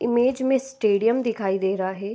Image में stadium दिखाई दे रहा है।